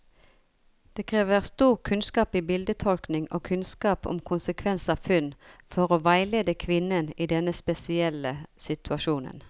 Det krever stor kunnskap i bildetolkning og kunnskap om konsekvens av funn, for å veilede kvinnen i denne spesielle situasjonen.